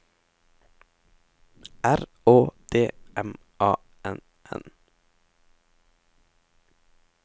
R Å D M A N N